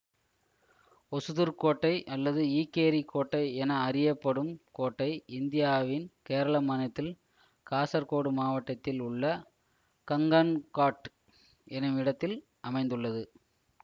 ஒசுதுர்க் கோட்டை அல்லது ஈக்கேரிக் கோட்டை என அறியப்படும் கோட்டை இந்தியாவின் கேரள மாநிலத்தில் காசர்கோடு மாவட்டத்தில் உள்ள கன்கங்காட் என்னும் இடத்தில் அமைந்துள்ளது